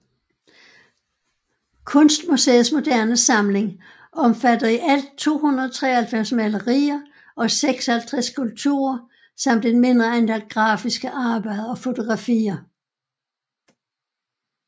Kunstmuseets moderne samling omfatter i alt 293 malerier og 56 skulpturer samt et mindre antal grafiske arbejder og fotografier